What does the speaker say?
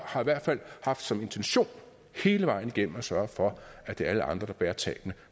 har i hvert fald haft som intention hele vejen igennem at sørge for at det er alle andre der bærer tabene